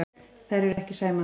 Þær eru ekki sæmandi.